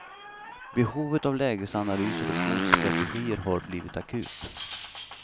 Behovet av lägesanalyser och motstrategier har blivit akut.